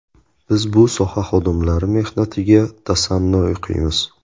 Biz bu soha xodimlari mehnatiga tasanno o‘qiymiz.